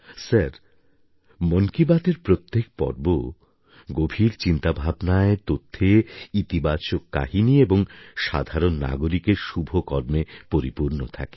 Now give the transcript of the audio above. sir মন কি বাতএর প্রত্যেক পর্ব গভীর চিন্তাভাবনায় তথ্যে ইতিবাচক কাহিনি এবং সাধারণ নাগরিকের শুভ কর্মে পরিপূর্ণ থাকে